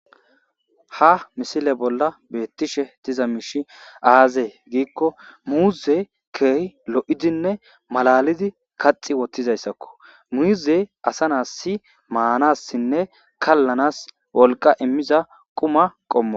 Ha missile bolla bettishe diizay mishshi aaze giikko muuzey kehidi lo'idine mallalidi kaxxi woththizayssako muuzey asa na'as manasinne kallanas wolqqa immiza quuma qommoko.